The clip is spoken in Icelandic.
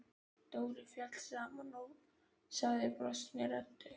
Dóri féll saman og sagði brostinni röddu